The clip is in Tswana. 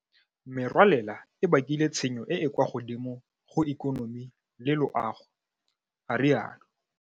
Merwalela e bakile tshenyo e e kwa godimo go ikonomi le loago, a rialo.